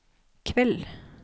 kveld